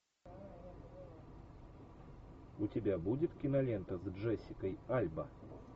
у тебя будет кинолента с джессикой альба